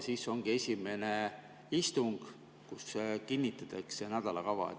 Siis ongi esimene istung, kus kinnitatakse nädalakava.